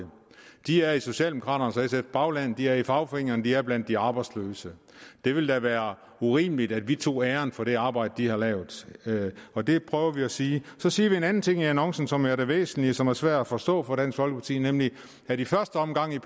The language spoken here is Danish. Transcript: de er i socialdemokraternes og sfs bagland de er i fagforeningerne og de er blandt de arbejdsløse det ville da være urimeligt at vi tog æren for det arbejde de har lavet og det prøver vi at sige så siger vi en anden ting i annoncen som er det væsentlige og som er svært at forstå for dansk folkeparti nemlig at i første omgang